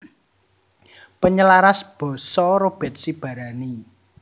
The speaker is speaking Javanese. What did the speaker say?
Penyelaras basa Robert Sibarani